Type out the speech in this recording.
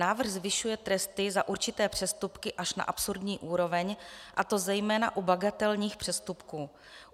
Návrh zvyšuje tresty za určité přestupky až na absurdní úroveň, a to zejména u bagatelních přestupků.